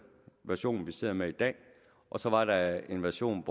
version vi sidder med i dag og så var der en version